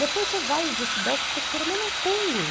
Depois você vai para estudar o que você queira, mas não tem.